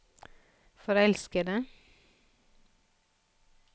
forelskede